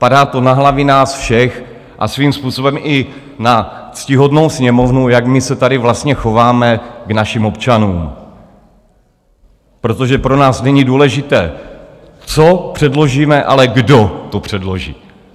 Padá to na hlavy nás všech a svým způsobem i na ctihodnou Sněmovnu, jak my se tady vlastně chováme k našim občanům, protože pro nás není důležité, co předložíme, ale kdo to předloží.